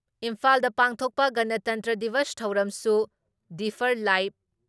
ꯏꯝꯐꯥꯜꯗ ꯄꯥꯡꯊꯣꯛꯄ ꯒꯅꯇꯟꯇ꯭ꯔ ꯗꯤꯕꯁ ꯊꯧꯔꯝꯁꯨ ꯗꯤꯐꯔ ꯂꯥꯏꯞ